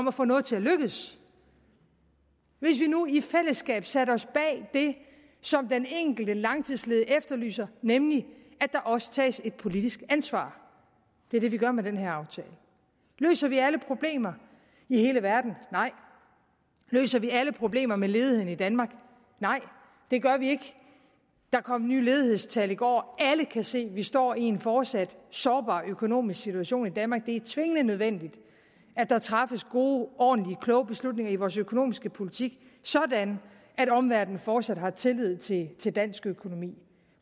at få noget til at lykkes hvis vi nu i fællesskab satte os bag det som den enkelte langtidsledige efterlyser nemlig at der også tages et politisk ansvar det er det vi gør med den her aftale løser vi alle problemer i hele verden nej løser vi alle problemer med ledigheden i danmark nej det gør vi ikke der kom nye ledighedstal i går og alle kan se at vi står i en fortsat sårbar økonomisk situation i danmark det er tvingende nødvendigt at der træffes gode ordentlige kloge beslutninger i vores økonomiske politik sådan at omverdenen fortsat har tillid til til dansk økonomi